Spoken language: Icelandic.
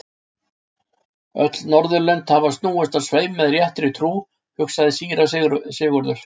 Öll Norðurlönd hafa snúist á sveif með réttri trú, hugsaði síra Sigurður.